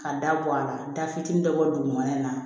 Ka da bɔ a la da fitinin dɔ bɔ dugumana in na